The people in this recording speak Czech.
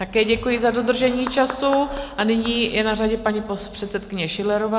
Také děkuji za dodržení času a nyní je na řadě paní předsedkyně Schillerová.